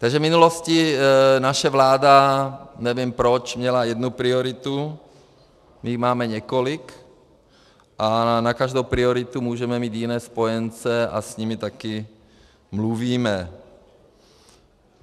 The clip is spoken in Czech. Takže v minulosti naše vláda, nevím proč, měla jednu prioritu, my jich máme několik a na každou prioritu můžeme mít jiné spojence a s nimi také mluvíme.